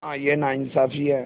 हाँ यह नाइंसाफ़ी है